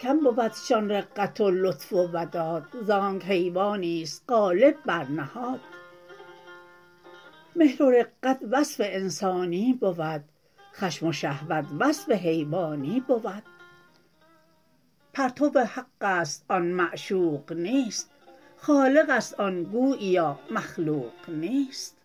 کم بودشان رقت و لطف و وداد زانک حیوانیست غالب بر نهاد مهر و رقت وصف انسانی بود خشم و شهوت وصف حیوانی بود پرتو حقست آن معشوق نیست خالقست آن گوییا مخلوق نیست